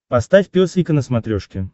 поставь пес и ко на смотрешке